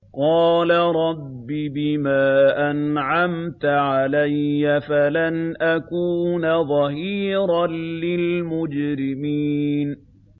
قَالَ رَبِّ بِمَا أَنْعَمْتَ عَلَيَّ فَلَنْ أَكُونَ ظَهِيرًا لِّلْمُجْرِمِينَ